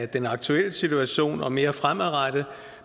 den aktuelle situation og mere fremadrettet